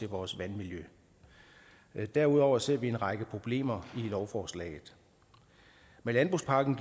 vores vandmiljø derudover ser vi en række problemer i lovforslaget med landbrugspakken